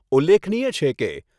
ઉલ્લેખનીય છે કે